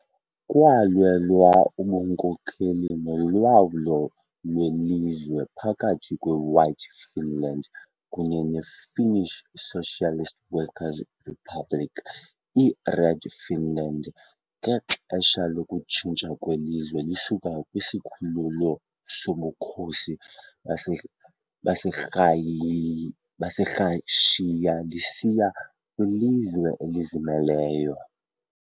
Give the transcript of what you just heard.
Kwalwelwa ubunkokeli nolawulo lwelizwe phakathi kweWhite Finland kunye neFinnish Socialist Workers' Republic, iRed Finland, ngexesha lokutshintsha kwelizwe lisuka kwisikhululo soBukhosi baseRhayi baseRashiya lisiya kwilizwe elizimeleyo.